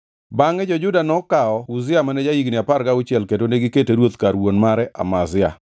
Bangʼe jo-Juda duto nokawo Uzia mane ja-higni apar gauchiel kendo negikete ruoth kar wuon mare Amazia.